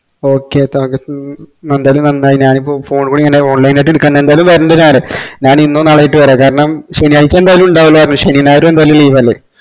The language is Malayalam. ഓക്കേ ന്തായാലും നാന്നായി ഞാനിപ്പോ phone ക്കൂടി ഇങ്ങനെ online ആയിറ്റ് എടുക്കണ്ട ന്തായാലും വേര്നിണ്ട നാന് നാന് ഇന്നോ നാളെയായിറ്റോ വേര കാരണം ശേനിയാഴ്ച ന്തായാലും ണ്ടാവൂല പറഞ്ഞു ശെനി ഞായർ ന്തായാലും ലീവ് അല്ലെ